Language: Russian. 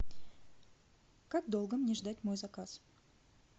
как долго мне ждать мой заказ